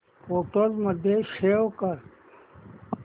photos मध्ये save कर